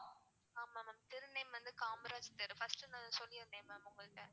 ஆமா ma'am தெரு name வந்து காமராஜ் தெரு first நான் சொல்லிருந்தேனன் ma'am உங்ககிட்ட